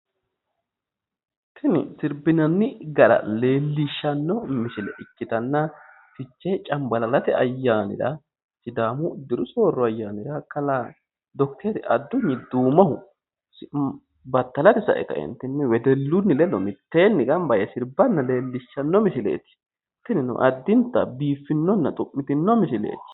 Tini sirbinanni gara leelishanno misile ikkitana fichee canibalalate ayyaanira sidaamu diru sooro ayyaanira kalaa Docteri Addunyi Duumohu battalate sae kaeenitinni wedellun ledo miteenni sae sirbanna leellishanno misileet tinino addinta biiffinnona xu'mitino misileeti